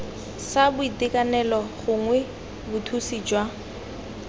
sa boitekanelo gongwe bothusi jwa